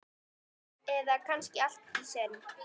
Eða kannski allt í senn?